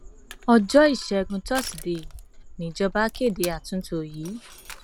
ọjọ ìṣègùn tùsídẹẹ níjọba kéde àtúntò yìí